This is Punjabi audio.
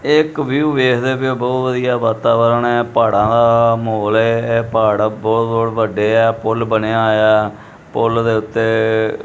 ਏਹ ਇਕ ਵਿਊ ਵੇਖਦੇ ਪਏ ਹੋ ਬਹੁਤ ਵਧੀਆ ਵਾਤਾਵਰਣ ਹੈ ਪਹਾੜਾਂ ਦਾ ਮਹੋਲ ਹੈ ਇਹ ਪਹਾੜ ਬਹੁਤ ਬਹੁਤ ਵੱਡੇ ਆ ਪੁੱਲ ਬਣਿਆ ਹੋਇਆ ਪੁੱਲ ਦੇ ਉੱਤੇ--